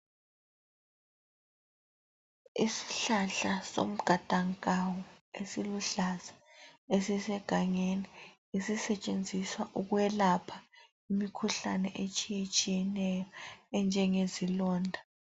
Isihlahla somgadankawu esiluhlaza esisegangeni esisetshenziswa ukwelapha imikhuhlane etshiyetshiyeneyo enjengezilonda.